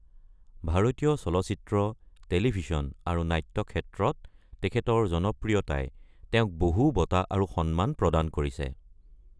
ভাৰতীয় চলচিত্ৰ, টেলিভিছন আৰু নাট্যক্ষেত্ৰত তেখেতৰ জনপ্ৰিয়তাই তেওঁক বহু বঁটা আৰু সন্মান প্ৰদান কৰিছে।